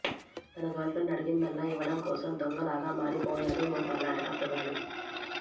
తన girlfriend అడిగిందల్లా ఇవ్వడం కోసం దొంగలాగా మారిపోయాడు ఓ కర్ణాటక కుర్రాడు